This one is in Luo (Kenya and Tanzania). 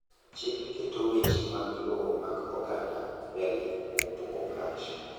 chik keto weche mag lowo mag oganda mbele kuom poko marach